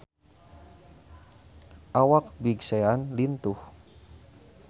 Awak Big Sean lintuh